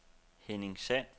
Henning Sand